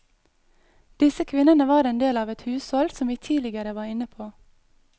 Disse kvinnene var en del av et hushold som vi tidligere var inne på.